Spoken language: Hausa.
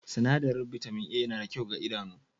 Sinadarin bitamin A yana da kyau ga idanu